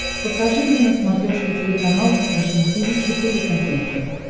покажи мне на смотрешке телеканал фэшн ти ви четыре ка